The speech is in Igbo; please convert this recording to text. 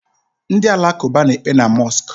Ndi alakụba na-ekpe na mosku.